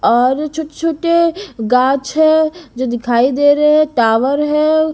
और छोटे-छोटे गाछ है जो दिखाई दे रहे हैं टावर है।